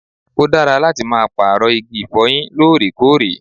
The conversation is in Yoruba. Ó dára láti máa pààrọ̀ igi ìfọyín lóòrèkóòrè